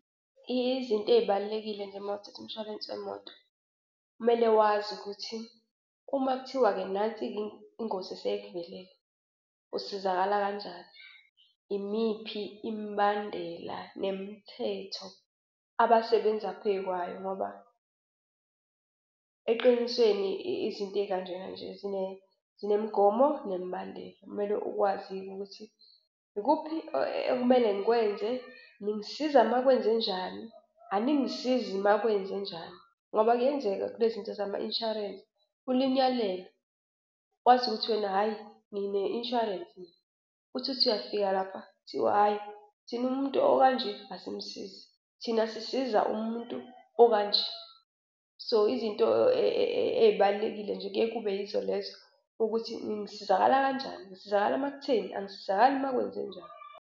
Izinto ey'balulekile nje uma uthatha umshwalense wemoto, kumele wazi ukuthi uma kuthiwa-ke nansi-ke ingozi eseyikuvelele usizakala kanjani. Imiphi imibandela nemithetho abasebenza phekwayo ngoba eqinisweni izinto ey'kanjena nje zinemigomo nemibandela, kumele ukwazi-ke ukuthi ikuphi ekumele ngikwenze. Ningisiza uma kwenzenjani? Aningisizi uma kwenzenjani? Ngoba kuyenzeka kulezi zinto zama-insurance, ulinyalelwe wazi ukuthi wena hhayi ngine-insurance. Uthi uthi uyafika lapha, kuthiwe hhayi thina umuntu okanje asimsizi thina sisiza umuntu okanje. So izinto ey'balulekile nje kuyaye kube yizo lezo ukuthi ngisizakala kanjani? Ngisizakala uma kutheni? Angisizakali uma kwenzenjani?